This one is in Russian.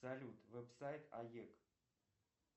салют веб сайт аек